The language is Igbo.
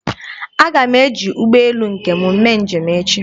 Aga m eji ụgbọelu nke m mee njem echi.